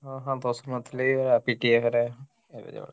ହଁ ହଁ ଦୋଷ ନଥିଲେ ଭଲା ପିଟିବେ ପରା